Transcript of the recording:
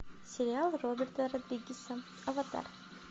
сериал роберта родригеса аватар